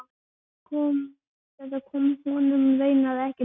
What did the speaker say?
Þetta kom honum raunar ekkert við.